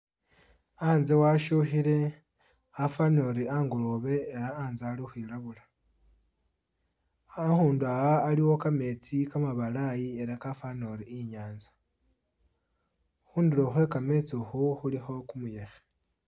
A'nze washukhile afanile ori a'ngoloobe ela a'nze ali ukhwilabula, a'khundu aa' aliwo kametsi kamabalayi ela kafana ori i'nyanza, khundulo khwekametsi khu khulikho kumuyekhe